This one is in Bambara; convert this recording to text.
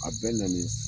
A bɛ na ni